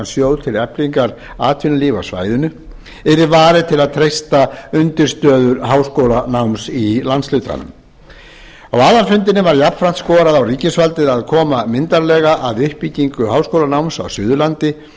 sjóð til eflingar atvinnulífi á svæðinu yrði varið til að treysta undirstöður háskólanáms í landshlutanum á aðalfundinum var jafnframt skorað á ríkisvaldið að koma myndarlega að uppbyggingu háskólanáms á suðurlandi